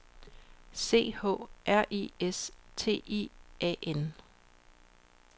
C H R I S T I A N